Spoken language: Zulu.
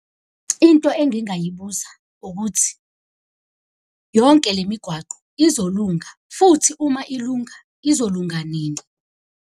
Into engingayibuza ukuthi yonke le migwaqo izolunga, futhi uma ilunga izolunga nini.